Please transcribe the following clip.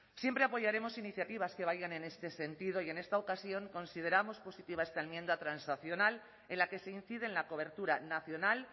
siempre apoyaremos iniciativas que vayan en este sentido y en esta ocasión consideramos positiva esta enmienda transaccional en la que se incide en la cobertura nacional